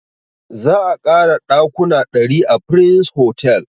Za a ƙara ɗakuna ɗari a prince hotel